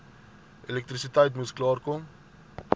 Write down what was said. elektrisiteit moes klaarkom